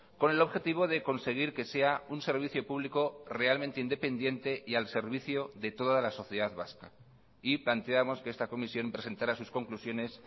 con el objetivo de conseguir que sea un servicio público realmente independiente y al servicio de toda la sociedad vasca y planteamos que esta comisión presentara sus conclusiones